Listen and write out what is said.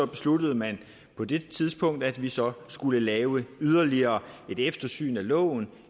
besluttede man på det tidspunkt at vi så skulle lave yderligere et eftersyn af loven